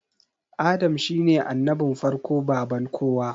Adam shine annabin farko baban kowa